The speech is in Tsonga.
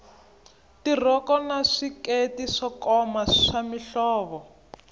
tirhoko na swikete swo koma swa mihlovo